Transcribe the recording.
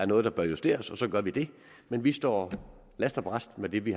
noget der bør justeres og så gør vi det men vi står last og brast med det vi